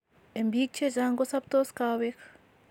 En biik chechang ko sobtos kaweg